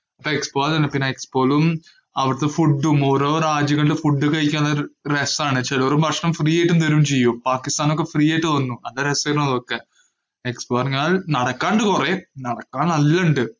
ആ expo തന്നെ. പിന്നെ expo യിലും, അവിടത്തെ food ഉം ഓരോ രാജ്യങ്ങളിലെ food കഴിക്കാന്‍ ഒരു രസാണ്. ചെലോര് ഭക്ഷണം free ആയിട്ട് തരുകയും ചെയ്യും. പാകിസ്ഥാനൊക്കെ free തരുന്നു. നല്ല രസായിരുന്നു അതൊക്കെ expo പറഞ്ഞാല്‍ നടക്കാണ്ട് കൊറേ. നടക്കാന്‍ നല്ല ഇണ്ട്.